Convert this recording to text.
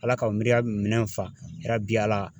Ala ka o minɛn fa yarabi Ala